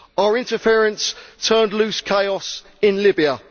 Our interference turned loose chaos in Libya.